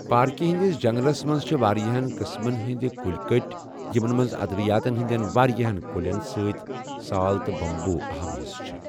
پاركہِ ہندِس جنگلس منز چھِ وارِیاہن قٕسمن ہندِ كُلۍ كٕٹۍ یمن منز ادوِیاتن ہندِین وارِیاہن كلین سۭتۍ سال تہٕ بمبو اہم حصہٕ چھِ۔